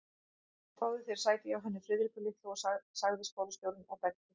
Fáðu þér sæti hjá henni Friðriku litlu sagði skólastjórinn og benti